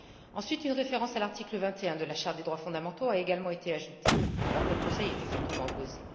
Ensuite, une référence à l'article 21 de la Charte des droits fondamentaux a également été ajoutée, alors que le Conseil y était fortement opposé.